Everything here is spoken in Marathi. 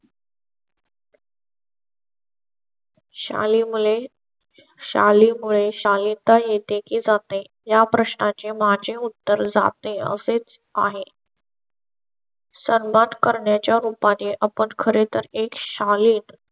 शाली मुळे शाली मुळे शालीनता येते की जाते या प्रश्ना चे माझे उत्तर जाते असेच आहे. करण्याच्या रोपांचे आपण खरे तर एक शाली जो